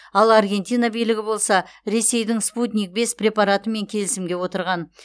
ал аргентина билігі болса ресейдің спутник бес препаратымен келісімге отырған